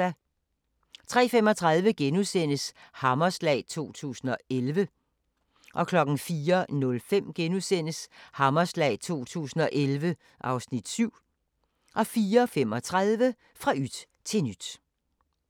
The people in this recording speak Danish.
03:35: Hammerslag 2011 (Afs. 6)* 04:05: Hammerslag 2011 (Afs. 7)* 04:35: Fra yt til nyt